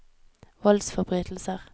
voldsforbrytelser